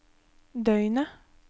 døgnet